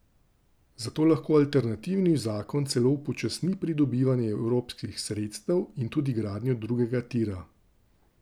Zato lahko alternativni zakon celo upočasni pridobivanje evropskih sredstev in tudi gradnjo drugega tira.